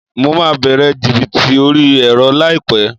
Mo máa bẹ̀rẹ̀ jìbìtì orí ẹ̀rọ láìpẹ́